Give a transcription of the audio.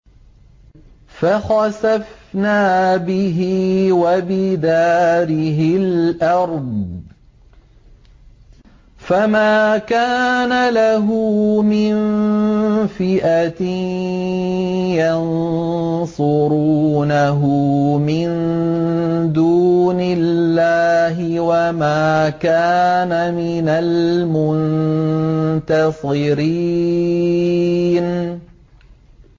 فَخَسَفْنَا بِهِ وَبِدَارِهِ الْأَرْضَ فَمَا كَانَ لَهُ مِن فِئَةٍ يَنصُرُونَهُ مِن دُونِ اللَّهِ وَمَا كَانَ مِنَ الْمُنتَصِرِينَ